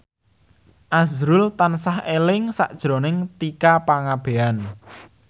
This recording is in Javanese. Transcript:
azrul tansah eling sakjroning Tika Pangabean